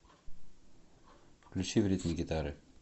включи в ритме гитары